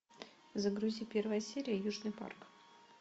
загрузи первая серия южный парк